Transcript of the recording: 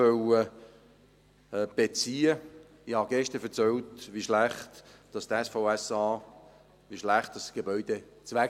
Ich habe gestern erzählt, wie schlecht der Zustand des SVSA, des Gebäudes, ist.